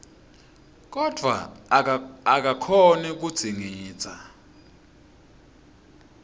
kodvwa akakhoni kudzingidza